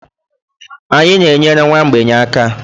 Anyị na-enyere nwa mgbei aka.